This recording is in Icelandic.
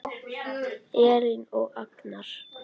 Elín og Agnar.